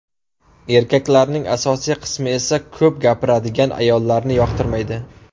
Erkaklarning asosiy qismi esa ko‘p gapiradigan ayollarni yoqtirmaydi.